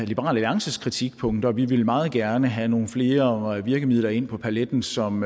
liberal alliances kritikpunkter vi vil meget gerne have nogle flere virkemidler ind på paletten som